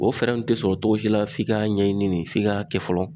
O fɛɛrɛ nunnu te sɔrɔ togo si la f'i ka ɲɛɲini ne f'i ka kɛ fɔlɔ